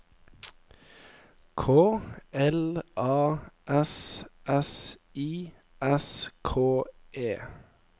K L A S S I S K E